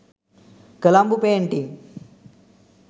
colombo painting